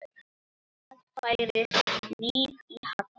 Það færðist líf í Halla.